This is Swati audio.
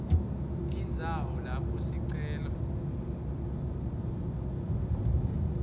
indzawo lapho sicelo